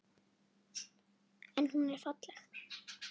En hún er falleg.